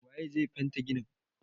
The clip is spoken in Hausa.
Wa ye zai fente ginin?